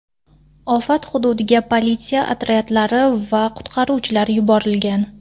Ofat hududiga politsiya otryadlari va qutqaruvchilar yuborilgan.